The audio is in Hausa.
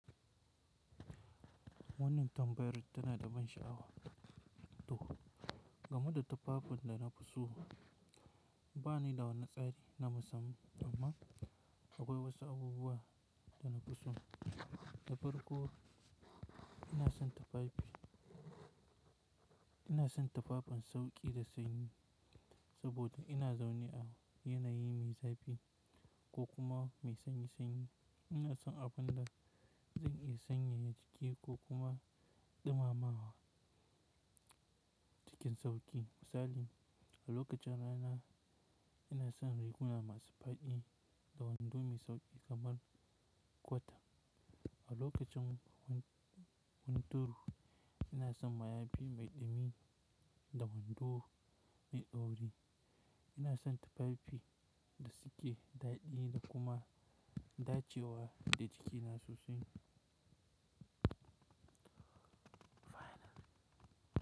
Wannan tambayar tana da ban sha'awa to, game da tufafin da na fi so. Ba ni da wani tsari na musamman amma akwai wasu abubuwa da na fi so. Da farko ina son tufafi, ina son tufafin sauƙi da sanyi saboda ina zaune a yanayi mai zafi ko kuma mai sanyi sanyi. Ina son abun da zan iya sanyaya ciki ko kuma ɗumama wa cikin sauƙi. Misali, a lokacin rana ina son riguna masu faɗi da wando mai sauƙi kamar kwata. A lokacin hunturu ina son mayafi mai ɗumi da wando mai ɗauri. Ina son tufafi da suke daɗe da kuma da cewa da jiki na sosai.